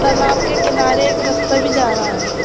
तालाब के किनारे एक रस्ता भी जा रहा है।